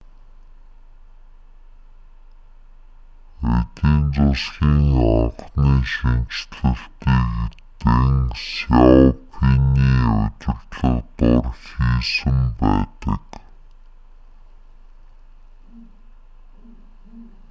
эдийн засгийн анхны шинэчлэлтийг дэн сяопиний удирдлага дор хийсэн байдаг